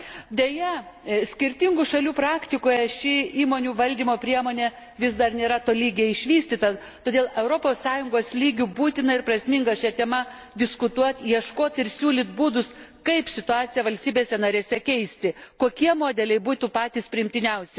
Deja, skirtingų šalių praktikoje ši įmonių valdymo priemonė vis dar nėra tolygiai išvystyta, todėl Europos Sąjungos lygiu būtina ir prasminga šia tema diskutuoti, ieškoti ir siūlyti būdus, kaip situaciją valstybėse narėse keisti, kokie modeliai būtų patys priimtiniausi.